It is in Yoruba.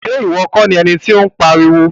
Iwọ kọ ni ẹní ti o n pariwo.